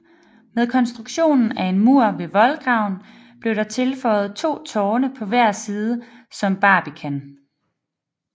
Med konstruktionen af en mur ved voldgraven blev der tilføjet to tårne på hver side som barbican